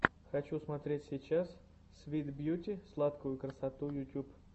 хочу смотреть сейчас свит бьюти сладкую красоту ютуб